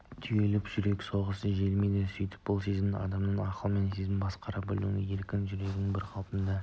түйіліп жүрек соғысы жиілейді сөйтіп бұл сезімдер адамды ақылмен сезіммен басқара білуден ерік-жігерінен бір қалыптылығынан